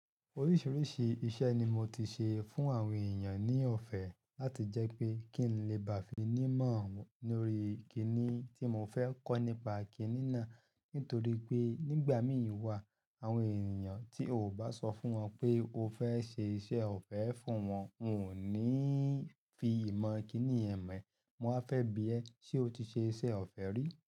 Oríṣiríṣi iṣẹ́ ni mo ti ṣe fún àwọn ènìyàn ní ọ̀fẹ́ láti jẹ́ pé kí n lè bá fi ní mọ̀ lórí kíní tí mo fẹ́ kọ́ nípa kínína. Nítorí pé nígbà mí ì wá àwọn ènìyàn tí o bá sọ fún wọn pé o fẹ́ ṣe iṣẹ́ ọ̀fẹ́ fún wọn, wọn ò ní fi ìmọ̀ kíníyẹn mọ̀. Wọ́n á fẹ́ bi ẹ́ ṣe o ti ṣe iṣẹ́ ọ̀fẹ́ rí.